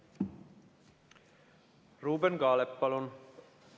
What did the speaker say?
Ruuben Kaalep, palun!